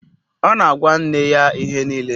Ọ na-agwa nne ya ihe niile